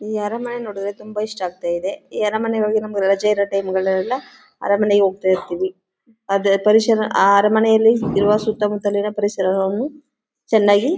ಈ ಅರಮನೆ ನೋಡಿದ್ರೆ ತುಂಬಾ ಇಷ್ಟ ಆಗ್ತಾ ಇದೆ ಈ ಅರಮನೆ ಹೋಗಿ ನಮಗೆ ರಜೆ ಇರುತ್ತೆ ನಮ್ಗಳಿಗೆಲ್ಲ ಅರಮನೆಗೆ ಹೋಗ್ತಾ ಇರ್ತೀವಿ ಆದರೆ ಪರಿಸರ ಆ ಅರಮನೆಯಲ್ಲಿ ಇರುವ ಸುತ್ತಮುತ್ತಲಿನ ಪರಿಸರವನ್ನು ಚೆನ್ನಾಗಿ--